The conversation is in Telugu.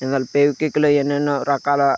ఇందులో ఫెవిక్విక్ లో ఎన్నెన్నో రకాల--